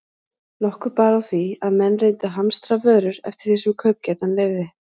Nokkuð bar á því, að menn reyndu að hamstra vörur eftir því sem kaupgetan leyfði.